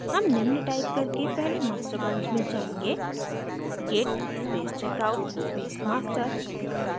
हम निम्न टाइप करके पहले master branch में जायेंगे git space checkout space master